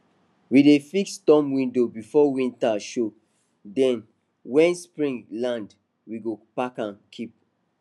we dey fix storm window before winter show then when spring land we go pack am keep